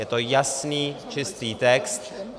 Je to jasný, čistý text.